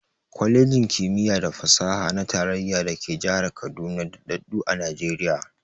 Kwalejin ƙimiya da fasaha na tarayya da ke jihar Kaduna daɗaɗɗu a Najiriya.